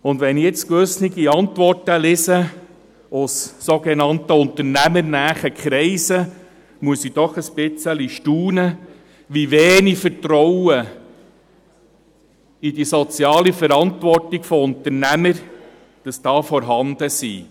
Wenn ich jetzt gewisse Antworten aus sogenannt «unternehmernahen Kreisen» lese, muss ich doch etwas staunen, wie wenig Vertrauen in die soziale Verantwortung von Unternehmern vorhanden ist.